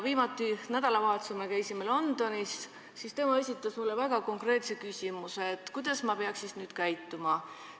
Me käisime nädalavahetusel Londonis ja ta esitas meile väga konkreetse küsimuse, et kuidas ta peaks nüüd siis käituma.